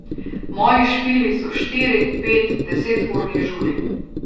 Moji špili so štiri, pet, deseturni žuri.